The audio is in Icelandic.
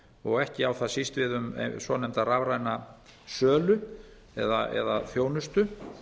og ekki á það síst við um svonefnda rafræna sölu eða þjónustu